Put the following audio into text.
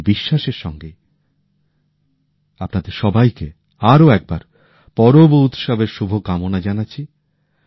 এই বিশ্বাসের সঙ্গেই আপনাদের সবাইকে আরো একবার পরব ও উৎসবের শুভকামনা জানাচ্ছি